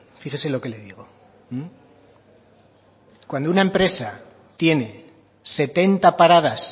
fíjese lo que le digo cuando una empresa tiene setenta paradas